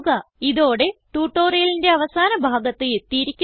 ഇതോടെ ട്യൂട്ടോറിയലിന്റെ അവസാന ഭാഗത്ത് എത്തിയിരിക്കുന്നു